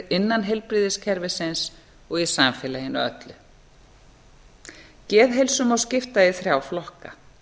innan heilbrigðiskerfisins og í samfélaginu öllu geðheilsu má skipta í þrjá flokka